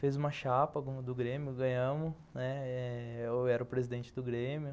Fez uma chapa do Grêmio, ganhamos, né, eu era o presidente do Grêmio.